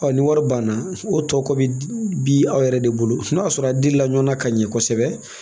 ni wari banna o tɔ kɔ bɛ bi aw yɛrɛ de bolo n'a sɔrɔ a di la ɲɔgɔna ka ɲɛ kosɛbɛ